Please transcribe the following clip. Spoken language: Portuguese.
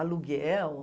Aluguel.